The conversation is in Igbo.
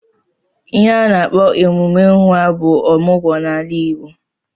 Ihe a na-akpo emume nwa ọmụgwọ n'ala Igbo.